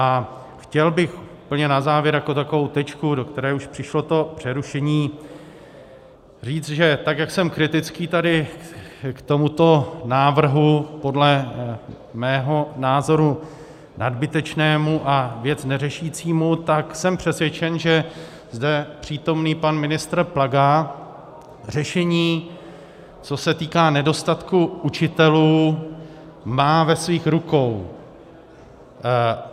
A chtěl bych úplně na závěr jako takovou tečku, do které už přišlo to přerušení, říct, že tak jak jsem kritický tady k tomuto návrhu, podle mého názoru nadbytečnému a věc neřešícímu, tak jsem přesvědčen, že zde přítomný pan ministr Plaga řešení, co se týká nedostatku učitelů, má ve svých rukou.